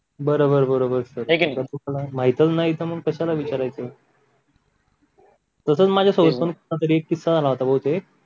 बरोबर बरोबर माहितच नाही तर कश्याला विचारायचं तसच माझ्या संस्थानात एक किस्सा झाला होता बहुतेक